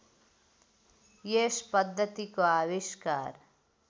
यस पद्धतिको आविष्कार